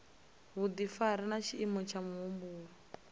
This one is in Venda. vhudifari na tshiimo tsha muhumbulo